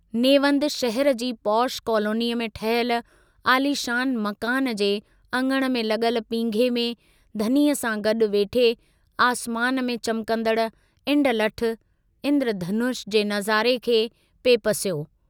नेवंद शहर जी पोश कॉलोनीअ में ठहियल आलीशान मकान जे अङण में लगल पींघे में धनीअ सां गडु वेठे आसमान में चमकंदड़ इंडलठ (इन्द्रधनुष) जे नजारे खे पिए पसियो।